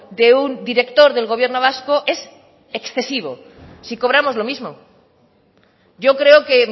de un director del gobierno vasco es excesivo si cobramos lo mismo yo creo que